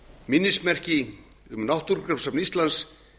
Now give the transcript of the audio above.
minnismerki um náttúrugripasafn íslands